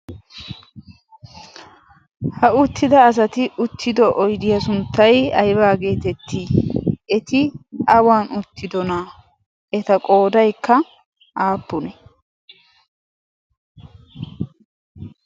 ha uttida asati uttido oydiyaa sunttai aibaageetettii eti awan uttido naa eta qoodaykka aappune